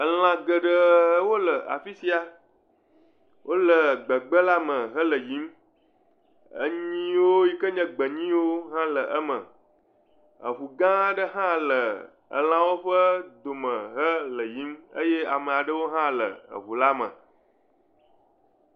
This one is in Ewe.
Elã geɖewo le afisia, wole gbehe la me hele yiyim. Anyi yiwo yike nye gbe nyi hã le eme, eŋu gã aɖe hã le elãwo ƒe dome le yiyim eye ame aɖewo hã le eŋu la me